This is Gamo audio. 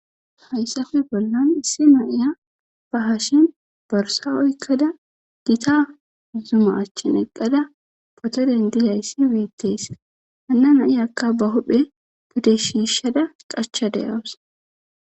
Haysappe bollan issi na'iya borsa ba hasheni oykda Gita makina anchan eqada poto dendizaysi betesi,